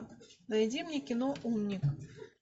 найди мне кино умник